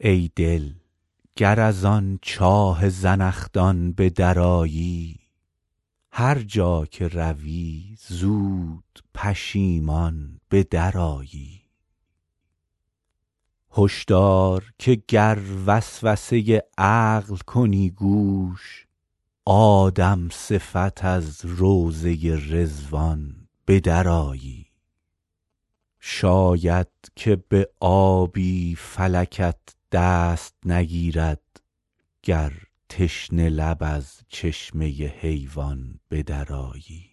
ای دل گر از آن چاه زنخدان به درآیی هر جا که روی زود پشیمان به درآیی هش دار که گر وسوسه عقل کنی گوش آدم صفت از روضه رضوان به درآیی شاید که به آبی فلکت دست نگیرد گر تشنه لب از چشمه حیوان به درآیی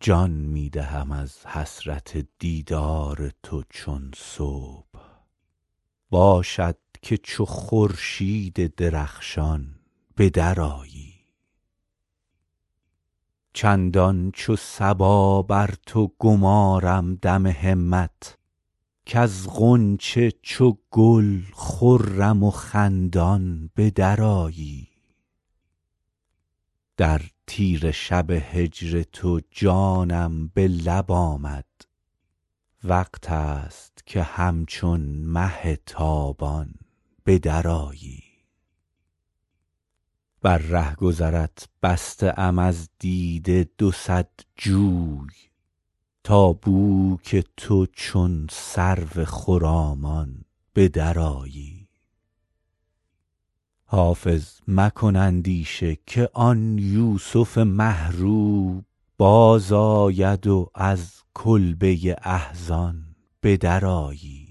جان می دهم از حسرت دیدار تو چون صبح باشد که چو خورشید درخشان به درآیی چندان چو صبا بر تو گمارم دم همت کز غنچه چو گل خرم و خندان به درآیی در تیره شب هجر تو جانم به لب آمد وقت است که همچون مه تابان به درآیی بر رهگذرت بسته ام از دیده دو صد جوی تا بو که تو چون سرو خرامان به درآیی حافظ مکن اندیشه که آن یوسف مه رو بازآید و از کلبه احزان به درآیی